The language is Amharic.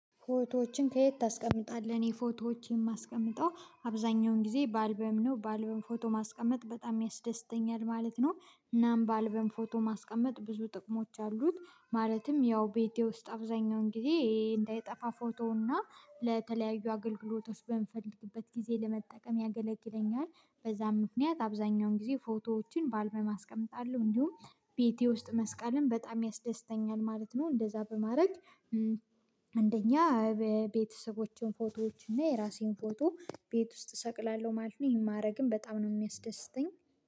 ፎቶዎችን ከየት ታስቀምጣለህ? እኔ ፎቶዎች የማስቀምጠው አብዛኛውን ጊዜ በአልበም ነው በአልበም ፎቶ ማስቀመጥ በጣም ያስደስተኛል ማለት ነው። እናም በአልበም ፎቶ ማስቀመጥ ብዙ ጥቅሞች አሉት ማለትም ያው ቤቴ ውስጥ አብዛኛውን ጊዜ እንዳይጠፋ ፎቶውና ለተለያዩ አገልግሎቶች በምፈልግበት ጊዜ ለመጠቀም ያገለግለኛል። በዛም ምክንያት አብዛኛውን ጊዜ ፎቶዎችን ባልበም አስቀምጣለሁ። እንዲሁም ቤቴ ውስጥ መስቀልም በጣም ያስደስተኛል ማለት ነው እንደዛ በማረግ እንደኛ ቤተሰቦቼን ፎቶዎች እና የራሴን ፎቶ ቤት ውስጥ እሰቅላለሁ ማለት ነው። ይሄን ማድረግም በጣም ነው የሚያስደስተኝ